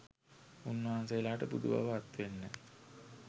උන්වහන්සේලාට බුදු බව අත්වෙන්න